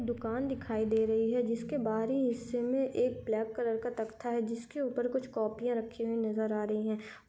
दुकान दिखाई दे रही है जिसके बाहरी हिस्से में एक ब्लैक कलर का तख्ता है जिसके ऊपर कुछ कॉपियां रखी हुई नज़र आ रही है।